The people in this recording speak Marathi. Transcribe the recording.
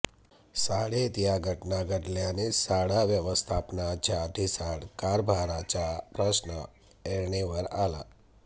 शाळेत या घटना घडल्याने शाळा व्यवस्थापनाच्या ढिसाळ कारभाराचा प्रश्न ऐरणीवर आला